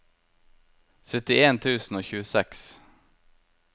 syttien tusen og tjueseks